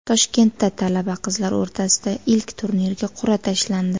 Toshkentda talaba qizlar o‘rtasidagi ilk turnirga qur’a tashlandi.